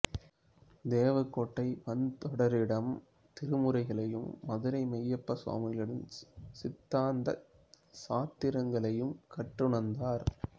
தேவக்கோட்டை வன்தொண்டரிடம் திருமுறைகளையும் மதுரை மெய்யப்ப சுவாமிகளிடம் சித்தாந்தச் சாத்திரங்களையும் கற்றுணர்ந்தார்